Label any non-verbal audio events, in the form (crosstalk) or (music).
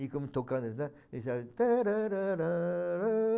E como tocando, né? (unintelligible) tan rãrãrãrãrã